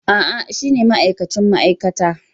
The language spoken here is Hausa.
A'a, shine ma'aikacin ma'aikata.